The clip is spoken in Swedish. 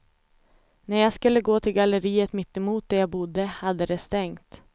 När jag skulle gå till galleriet mitt emot där jag bodde hade det stängt.